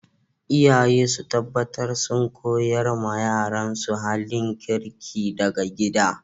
Iyaye su taɓatar sun ƙoyars ma yaransu halin kirki daga gida.